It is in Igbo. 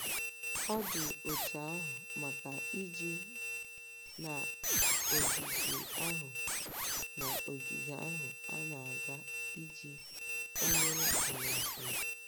Ọ dị otú ahụ maka ije n'ogige ahụ n'ogige ahụ a na-aga iji kwanyere ala ugwu.